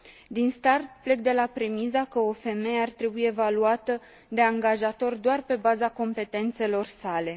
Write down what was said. Din start, plec de la premisa că o femeie ar trebui evaluată de angajator doar pe baza competențelor sale.